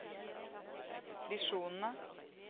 visjonene